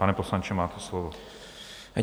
Pane poslanče, máte slovo.